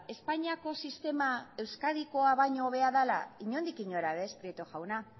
espainiako sistema euskadikoa baino hobea dala inondik inora ere ez prieto jauna